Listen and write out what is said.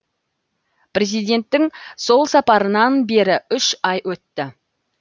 президенттің сол сапарынан бері үш ай өтті